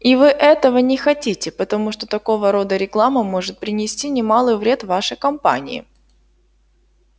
и вы этого не хотите потому что такого рода реклама может принести немалый вред вашей компании